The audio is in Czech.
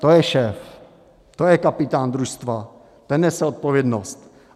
To je šéf, to je kapitán družstva, ten nese odpovědnost.